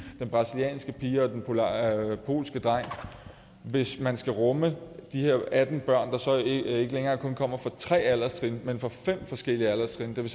den brasilianske pige og den polske dreng hvis man skal rumme de her atten børn der så ikke længere kun kommer fra tre alderstrin men fra fem forskellige alderstrin det